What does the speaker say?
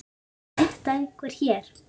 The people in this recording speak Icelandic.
Veit þetta einhver hér?